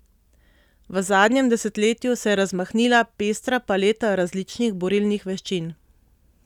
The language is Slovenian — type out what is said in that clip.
V zadnjem desetletju se je razmahnila pestra paleta različnih borilnih veščin.